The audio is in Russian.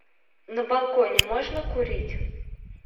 на балконе можно курить